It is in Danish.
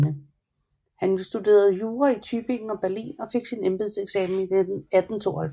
Han studerede jura i Tübingen og Berlin og fik embedseksamen i 1892